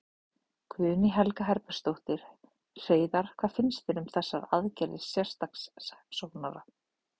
Guðný Helga Herbertsdóttir: Hreiðar, hvað finnst þér um þessar aðgerðir sérstaks saksóknara?